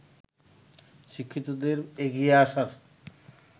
শিক্ষিতদের এগিয়ে আসার